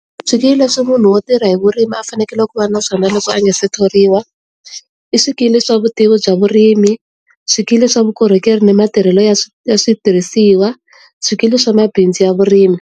Swikili leswi munhu wo tirha hi vurimi a fanekele ku va na swona loko a nga se thoriwa i swikili swa vutivi bya vurimi, swikili swa vukorhokeri ni matirhelo ya ya switirhisiwa, swikili swa mabindzu ya vurimi.